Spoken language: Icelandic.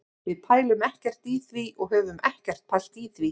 Við pælum ekkert í því og höfum ekkert pælt í því.